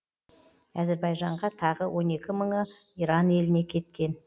әзірбайжанға тағы он екі мыңы иран еліне кеткен